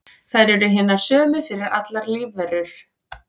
þær eru hinar sömu fyrir allar lífverur